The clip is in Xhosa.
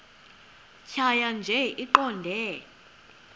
tjhaya nje iqondee